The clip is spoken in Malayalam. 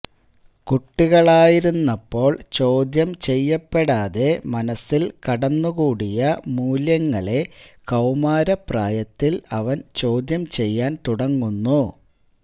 കുട്ടികളായിരുന്നപ്പോള് ചോദ്യം ചെയ്യപ്പെടാതെ മനസ്സില് കടന്നുകൂടിയ മൂല്യങ്ങളെ കൌമാരപ്രായത്തില് അവന് ചോദ്യം ചെയ്യാന് തുടങ്ങുന്നു